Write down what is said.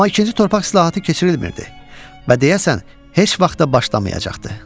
Amma ikinci torpaq islahatı keçirilmirdi və deyəsən, heç vaxt da başlamayacaqdı.